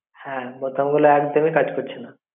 হ্যাঁ বোতামগুলো একদমই কাজ করছে না